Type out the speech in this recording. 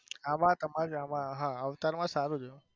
આમાં તમારા હા અવતાર માં સારું છે.